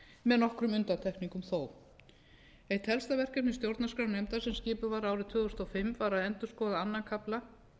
með nokkrum undantekningum þó eitt helsta verkefni stjórnarskrárnefndarinnar sem skipuð var árið tvö þúsund og fimm var að endurskoða öðrum kafla